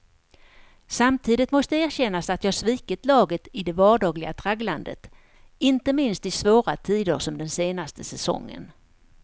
Samtidigt måste erkännas att jag svikit laget i det vardagliga tragglandet, inte minst i svåra tider som den senaste säsongen.